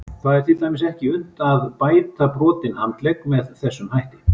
Það er til dæmis ekki unnt að bæta brotinn handlegg með þessum hætti.